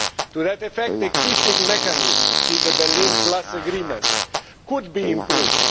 To that effect, existing mechanisms see the Berlin Plus agreements could be improved